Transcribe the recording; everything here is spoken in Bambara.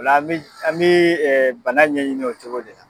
O lo an bɛ an bɛ bana ɲɛɲini o cogoya de la.